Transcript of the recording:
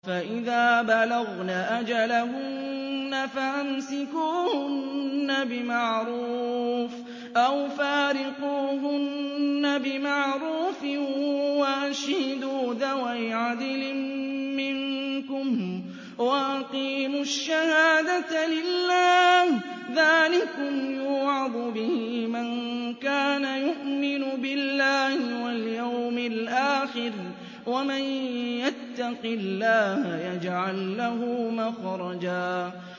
فَإِذَا بَلَغْنَ أَجَلَهُنَّ فَأَمْسِكُوهُنَّ بِمَعْرُوفٍ أَوْ فَارِقُوهُنَّ بِمَعْرُوفٍ وَأَشْهِدُوا ذَوَيْ عَدْلٍ مِّنكُمْ وَأَقِيمُوا الشَّهَادَةَ لِلَّهِ ۚ ذَٰلِكُمْ يُوعَظُ بِهِ مَن كَانَ يُؤْمِنُ بِاللَّهِ وَالْيَوْمِ الْآخِرِ ۚ وَمَن يَتَّقِ اللَّهَ يَجْعَل لَّهُ مَخْرَجًا